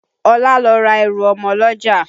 Ọlá lọ ra ẹrù ọmọ lọ́jà